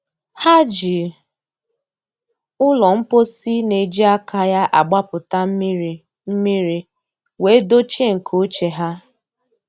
Ha ji ụlọ mposi na-eji aka ya agbapụta mmiri mmiri wee dochie nke ochie ha.